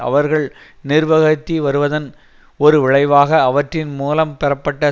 அவர்கள் நிர்வகித்து வருவதன் ஒரு விளைவாக அவற்றின் மூலம் பெறப்பட்ட